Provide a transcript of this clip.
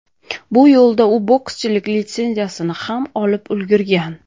Bu yo‘lda u bokschilik litsenziyasini ham olib ulgurgan .